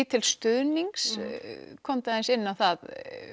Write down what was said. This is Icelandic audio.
til stuðnings komdu aðeins inn á það